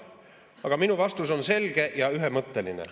Aga minu vastus on selge ja ühemõtteline ...